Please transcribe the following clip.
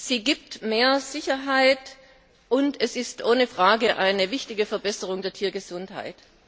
Sie gibt mehr Sicherheit, und es ist ohne Frage eine wichtige Verbesserung der Tiergesundheit.